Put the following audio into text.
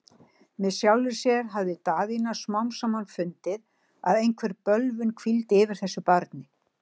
Með sjálfri sér hafði Daðína smám saman fundið, að einhver bölvun hvíldi yfir þessu barni.